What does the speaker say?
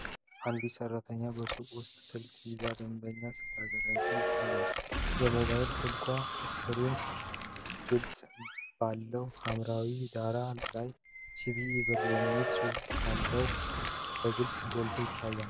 አንዲት ሰራተኛ በሱቅ ውስጥ ስልክ ይዛ ደንበኛን ስታገለግል ይታያል። የሞባይል ስልክ ስክሪን ቅርጽ ባለው ሐምራዊ ዳራ ላይ፣ “ሲቢ ብር” የሚለው ጽሑፍ ከላይ በግልጽ ጎልቶ ይታያል።